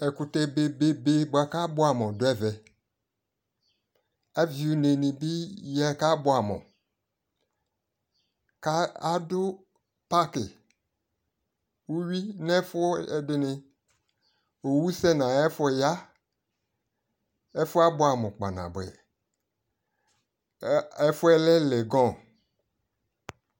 ɛkutɛ bebe boa ko aboɛ amo do ɛvɛ, avi une ni bi yako aboɛ amo, ku ado parki uwi no ɛfu edi ni, owu sɛ no ayi ɛfo ya, ɛfoɛ aboɛ amo kpa naboɛ, ko ɛfuɛ lɛ legon